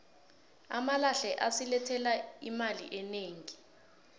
amalahle asilethela imali enegi